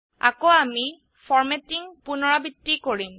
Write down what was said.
আকৌ আমি ফৰ্মেটিঙ পুনৰাবৃত্তি কৰিম